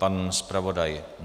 Pan zpravodaj?